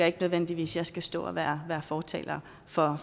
ikke nødvendigvis skal stå og være fortaler for